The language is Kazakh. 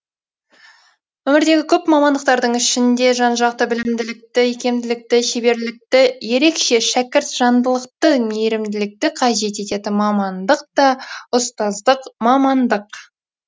өмірдегі көп мамандықтардың ішінде жан жақты білімділікті икемділікті шеберлікті ерекше шәкіртжандылықты мейірімділікті қажет ететін мамандық та ұстаздық мамандық